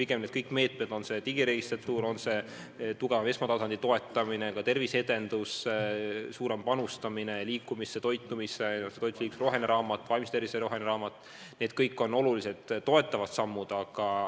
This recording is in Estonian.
Ja kõik need meetmed – on see digiregistratuur, on see tugevam esmatasandi toetamine, ka terviseedendus, suurem panustamine liikumisse, toitumisse, roheline raamat, sh vaimse tervise roheline raamat – on olulised toetavad sammud.